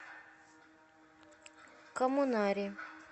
коммунаре